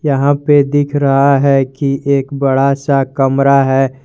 यहां पे दिखा रहा है कि एक बड़ा सा कमरा है।